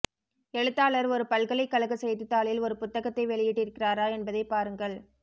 எழுத்தாளர் ஒரு பல்கலைக் கழக செய்தித்தாளில் ஒரு புத்தகத்தை வெளியிட்டிருக்கிறாரா என்பதைப் பாருங்கள்